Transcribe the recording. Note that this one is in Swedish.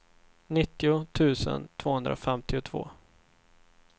nittio tusen tvåhundrafemtiotvå